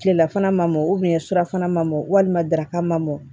Tilelafana ma mɔn surafana man mɔn walima daraka ma mɔ